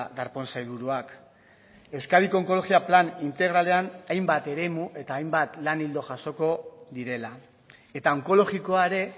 darpón sailburuak euskadiko onkologia plan integralean hainbat eremu eta hainbat lan ildo jasoko direla eta onkologikoa ere